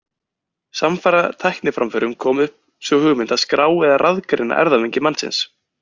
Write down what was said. Samfara tækniframförum kom upp sú hugmynd að skrá eða raðgreina erfðamengi mannsins.